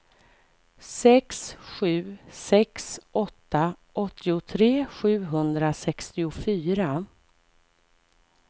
sex sju sex åtta åttiotre sjuhundrasextiofyra